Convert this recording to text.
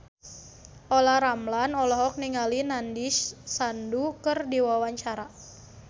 Olla Ramlan olohok ningali Nandish Sandhu keur diwawancara